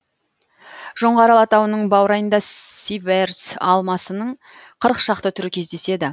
жоңғар алатауының баурайында сиверс алмасының қырық шақты түрі кездеседі